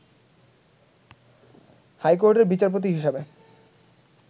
high কোর্টের বিচারপতি হিসাবে